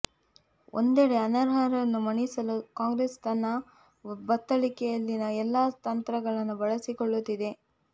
್ಲ ಒಂದಡೆ ಅನರ್ಹರನ್ನು ಮಣಿಸಲು ಕಾಂಗ್ರೆಸ್ ತನ್ನ ಬತ್ತಳಿಕೆಯಲ್ಲಿನ ಎಲ್ಲ ತಂತ್ರಗಳನ್ನು ಬಳಸಿಕೊಳ್ಳುತಿದೆ